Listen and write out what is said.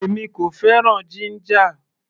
Èmi kò fẹ́ràn jíńjà.